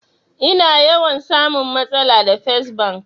Ina yawan samun matsala da fes bank